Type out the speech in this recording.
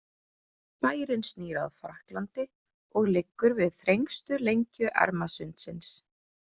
Bærinn snýr að Frakklandi og liggur við þrengstu lengju Ermarsundsins.